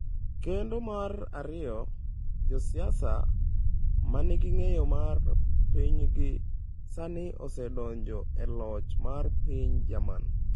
Kendo mar ariyo, josiasa ma nigi ng’eyo mar pinygi, sani osedonjo e loch mar piny Jerman.